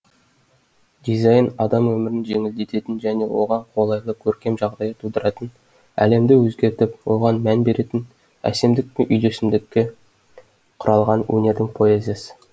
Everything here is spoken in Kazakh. дизайн адам өмірін жеңілдететін және оған қолайлы көркем жағдай тудыратын әлемді өзгертіп оған мән беретін әсемдік пен үйлесімдікке құралған өнердің поэзиясы